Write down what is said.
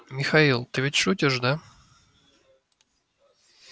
михаил ты ведь шутишь да